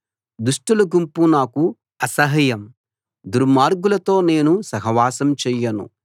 దుష్టుల గుంపు నాకు అసహ్యం దుర్మార్గులతో నేను సహవాసం చెయ్యను